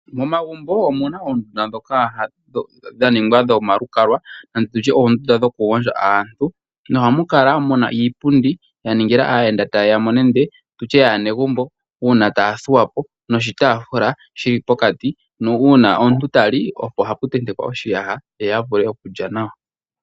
Momagumbo omuna oondunda ndhoka dha ningwa dhomalukalwa nande tu tye oondunda dhokugondja aantu, nohamu kala muna iipundi ya ningila aayenda taye ya mo nande tutye yaanegumbo uuna taya thuwa po noshitaafula shi li pokati uuna omuntu tali oko haku tentekwa oshiyaha ye a vule okulya nawa.